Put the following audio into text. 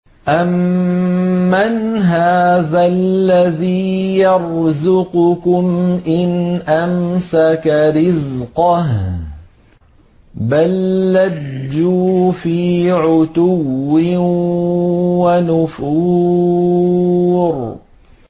أَمَّنْ هَٰذَا الَّذِي يَرْزُقُكُمْ إِنْ أَمْسَكَ رِزْقَهُ ۚ بَل لَّجُّوا فِي عُتُوٍّ وَنُفُورٍ